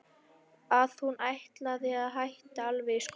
Að hún ætlaði að hætta alveg í skólanum.